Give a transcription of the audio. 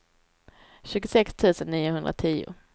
tjugosex tusen niohundratio